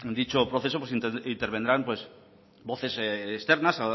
dicho proceso intervendrán voces externas